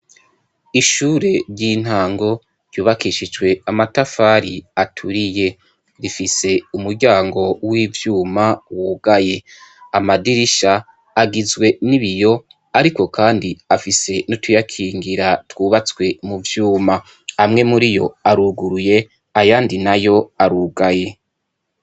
Ishuri ry'intango ryubakishijwe amatafari aturiye, rifise umuryango w'ivyuma wugaye , amadirisha agizwe nibiyo ariko kandi afise nutuyakingira twubatswe muvyuma. Amwe muriyo aruguruye , ayandi nayo arugaye.